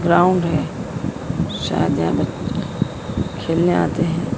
Ground है शायद यहां बच् खेलने आते हैं।